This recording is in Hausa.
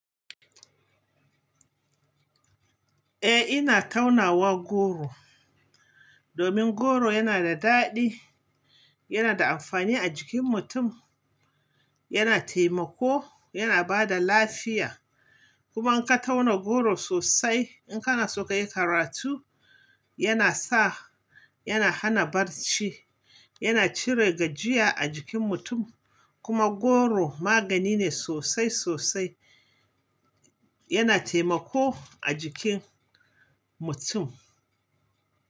Eh ina taunawa goro, domin goro yana da daɗi, yana da amfani a jikin mutum, yana temako, yana bada lafiya. Kuma in ka tauna goro sosai, in kana so kai karatu, yana sa-- yana hana barci, yana cire gajiya a jikin mutum. Kuma goro magani ne sosai sosai, yana temako a jikin mutum.